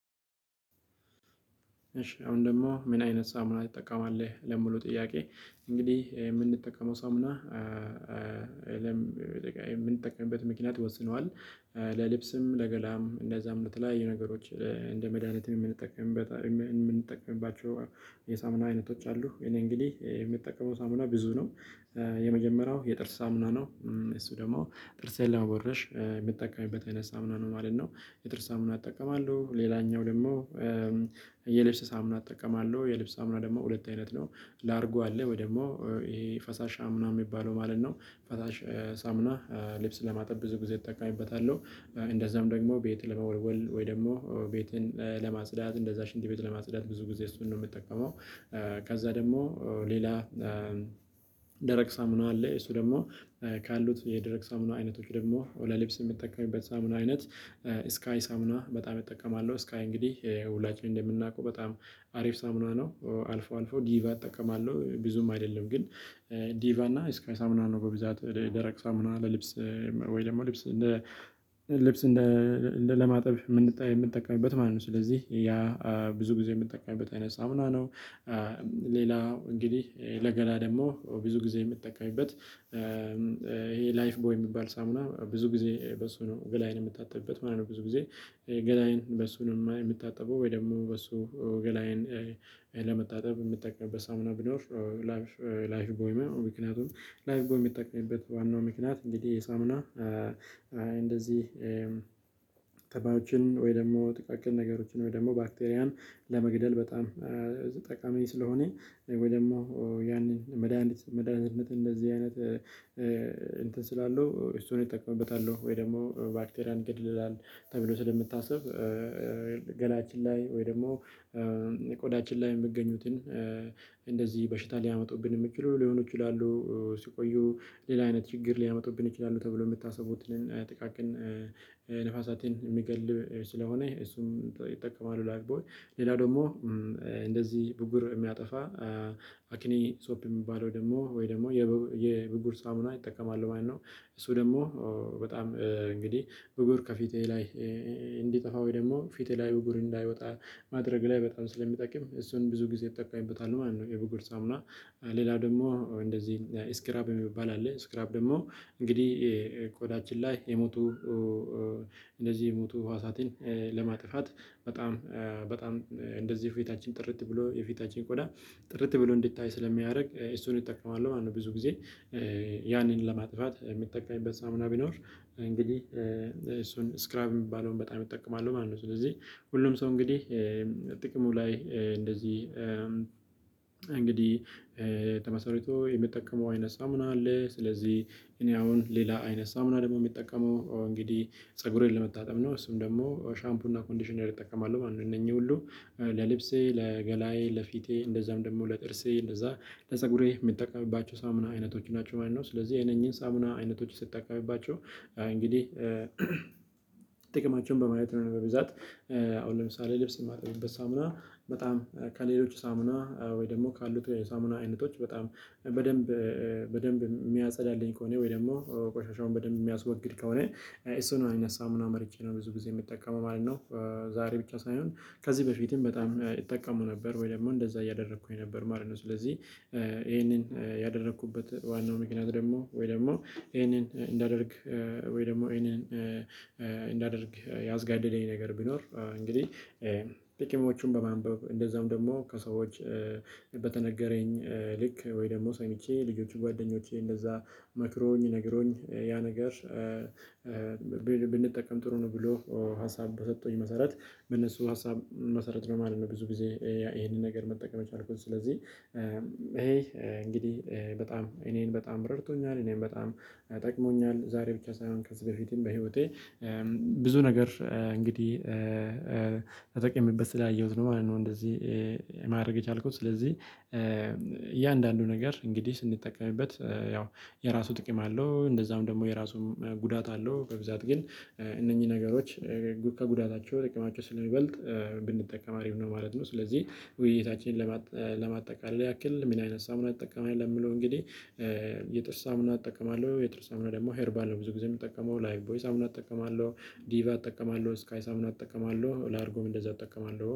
እሺ አሁን ደግሞ ምን አይነት ሳሙና ትጠቀማለህ? ለምሉ ጥያቄ እንግዲህ የምንጠቀመው ሳሙና የምንጠቀምበት ምክንያት ይወስነዋል። ለልብስም ለገላም እንደዛም እለት ላይ የነገሮች እንደ መድሃኒትም የምንጠቀምበት የምንጠቀምባቸው የሳምና አይነቶች አሉ። እኔ እንግዲህ የሚጠቀመው ሳሙና ብዙ ነው። የመጀመሪያው የጥርስ ሳምና ነው። እሱ ደግሞ ጥርሴን ለመቦረሽ የሚጠቀምበት አይነት ሳምነው ማለት ነው የጥርስ ሳምነው እጠቀማለሁ። ሌላኛው ደግሞ የልብስ ሳሙና እጠቀማለሁ የልብስ ሳሙና ደግሞ ሁለት አይነት ነው። ላርጎ አለ ወይ ደግሞ ይሄ ፈሳሻ ሳሙና የሚባለው ማለት ነው። ፈሳሽ ሳሙና ልብስ ለማጥብ ብዙ ጊዜ እጠቀምበታለሁ። እንደዛም ደግሞ ቤት ለመወልወል ወይ ደግሞ ቤትን ለማጽዳት እንደዛ ሽንት ቤት ለማጽዳት ብዙ ጊዜ እሱን ነው ምጠቀመው። ከዛ ደግሞ ሌላ ደረቅ ሳሙና አለ። እሱ ደግሞ ካሉት የደረቅ ሳሙና አይነቶች ደግሞ ለልብስ ሚጠቀሚበት ሳሙና አይነት ስካይ ሳሙና በጣም እጠቀማለሁ። ስካይ እንግዲህ ውላችንም እንደምናውቀው በጣም አሪፍ ሳምኗ ነው። አልፎ አልፎ ዲቫ አጠቀማለሁ ብዙም አይደለም ግን ዲቫ እና እስካይ ሳምና ነው በብዛት ደረቅ ሳሙን ለልብስ ወይ ደግሞ ልብስ ልብስ እንደ ለማጠብ የምንጠቀምበት ማለት ነው። ስለዚህ ያ ብዙ ጊዜ የምንጠቀምበት አይነት ሳምና ነው። ሌላው እንግዲህ ለገላ ደግሞ ብዙ ጊዜ የምትጠቀሚበት ይሄ ላይፍ ቦይ የሚባል ሳሙና ብዙ ጊዜ በሱ ነው ገላይን ምታጠብበት ማለት ነው። ብዙ ጊዜ ገላይን በሱ ምታጠበው ወይ ደግሞ በሱ ገላዬን ለመታጠብ ምጠቀምበት ሳሙና ቢኖር። ላይፍ ቦይ ምክንያቱም ላይፍ ቦይ ሚጠቀምበት ዋናው ምክንያት እንግዲህ የሳሙና እንደዚህ ተባዮችን ወይ ደግሞ ጥቃቅን ነገሮችን ወይ ደግሞ ባክቴሪያን ለመግደል በጣም ጠቃሚ ስለሆነ ወይ ደግሞ ያንን መድሃኒት መድሃኒትነት እንደዚህ አይነት እንትን ስላለው እሱን እጠቀምበታለሁ ወይ ደግሞ ባክቴሪያን ይገላል። ተብሎ ስለምታስብ ገላችን ላይ ወይ ደግሞ ቆዳችን ላይ የምገኙትን እንደዚህ በሽታ ሊያመጡብን የሚችሉ ሊሆኑ ይችላሉ። ሲቆዩ ሌላ አይነት ችግር ሊያመጡብን ይችላሉ። ተብሎ የምታስቡትን ጥቃቅን ነፍሳትን የሚገል ስለሆነ እሱም ይጠቀማሉ። ላይፍ ቦይ ሌላ ደግሞ እንደዚህ ብጉር የሚያጠፋ አክኒ ሶፕ የሚባለው ደግሞ ወይ ደግሞ የብጉር ሳሙና እጠቀማለሁ ማለት ነው። እሱ ደግሞ በጣም እንግዲህ ብጉር ከፊቴ ላይ እንዲጠፋ ወይ ደግሞ ፊቴ ላይ ብጉር እንዳይወጣ ማድረግ ላይ በጣም ስለሚጠቅም እሱን ብዙ ጊዜ እጠቀምበታለሁ ማለት ነው። የብጉር ሳሙና። ሌላ ደግሞ እንደዚህ ስክራብ የሚባል አለ። ስክራብ ደግሞ እንግዲህ ቆዳችን ላይ የሞቱ እንደዚህ የሞቱ ህዋሳትን ለማጥፋት በጣም በጣም እንደዚህ ፊታችን ጥርት ብሎ የፊታችን ቆዳ ጥርት ብሎ እንዲታይ ስለሚያደርግ እሱን ይጠቀማሉ ማለት ነው። ብዙ ጊዜ ያንን ለማጥራት የሚጠቀምበት ሳሙና ቢኖር እንግዲህ እሱን ስክራብ የሚባለውን በጣም ይጠቀማሉ ማለት ነው። ስለዚህ ሁሉም ሰው እንግዲህ ጥቅሙ ላይ እንደዚህ እንግዲህ ተመስርቶ የሚጠቀመው አይነት ሳሙና አለ። ስለዚህ እኔ አሁን ሌላ አይነት ሳሙና ደግሞ የሚጠቀመው እንግዲህ ፀጉሬን ለመታጠብ ነው። እሱም ደግሞ ሻምፑና ኮንዲሽነር እጠቀማለሁ ማለት ነው። እነኚህ ሁሉ ለልብሴ ለገላዬ ለፊቴ እንደዛም ደግሞ ለጥርሴ እንደዛ ለፀጉሬ የምትጠቀምባቸው ሳሙና አይነቶች ናቸው ማለት ነው። ስለዚህ እነኚህን ሳሙና አይነቶች ስትጠቀምባቸው እንግዲህ ጥቅማቸውን በማየት ነው በብዛት አሁን ለምሳሌ ልብስ የማጠብበት ሳምና በጣም ከሌሎች ሳምና ወይ ደግሞ ካሉት የሳሙና አይነቶች በጣም በደንብ በደንብ ሚያጸዳልኝ ከሆነ ወይ ደግሞ ቆሻሻውን በደንብ ሚያስወግድ ከሆነ እሱን አይነት ሳሙና መርጬ ነው ብዙ ጊዜ ሚጠቀመው ማለት ነው። ዛሬ ብቻ ሳይሆን ከዚህ በፊትም በጣም ይጠቀሙ ነበር ወይ ደግሞ እንደዛ እያደረኩኝ ነበር ማለት ነው። ስለዚህ ይሄንን ያደረኩበት ዋናው ምክንያት ደግሞ ወይ ደግሞ ይሄንን እንዳደርግ ወይ ደግሞ እሄንን እንዳደርግ ያዝጋደደኝ ነገር ብኖር እንግዲህ ጥቂሞቹን በማንበብ እንደዛውም ደግሞ ከሰዎች በተነገረኝ ልክ ወይ ደግሞ ሰምቼ ልጆች ጓደኞቼ እንደዛ መክሮኝ ነግሮኝ ያ ነገር ብንጠቀም ጥሩ ነው ብሎ ሀሳብ በሰጡኝ መሰረት በነሱ ሀሳብ መሰረት ነው ማለት ነው። ብዙ ጊዜ እሄንን ነገር መጠቀም የቻልኩት ስለዚህ እሄ እንግዲህ በጣም እኔን በጣም ረድቶኛል እኔን በጣም ጠቅሞኛል። ዛሬ ብቻ ሳይሆን ከዚህ በፊትም በህይወቴ ብዙ ነገር እንግዲህ ተጠቅሜበት ስላየሁት ነው ማለት ነው። እንደዚህ ማድረግ የቻልኩት ስለዚህ እያንዳንዱ ነገር እንግዲህ ስንጠቀምበት ያው የራሱ ጥቅም አለው። እንደዛም ደግሞ የራሱም ጉዳት አለው። በብዛት ግን እነኚህ ነገሮች ከጉዳታቸው ጥቅማቸው ስለሚበልጥ ብንጠቀም አሪፍ ነው ማለት ነው። ስለዚህ ውይይታችንን ለማጠቃለል ያክል ምን አይነት ሳሙና እጠቀማለሁ ለሚለው እንግዲህ የጥርስ ሳሙና እጠቀማለሁ። የጥርስ ሳሙና ደግሞ ሄርባል ነው ብዙ ጊዜ የምጠቀመው ላይቭ ቦይስ ሳሙና እጠቀማለሁ። ዲቫ አጠቀማለሁ ስካይ ሳሙና እጠቀማለሁ ላርጎም እንደዛ እጠቀማለሁ